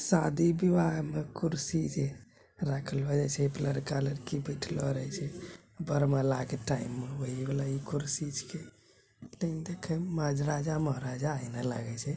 शादी विवाह मे जे कुर्सी रखलो जाय छै एय पर लड़का-लड़की बैठलो रहय छै वरमाला----